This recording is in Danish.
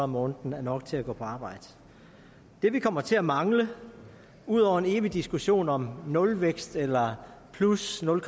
måneden er nok til at gå på arbejde det vi kommer til at mangle ud over en evig diskussion om nulvækst eller plus nul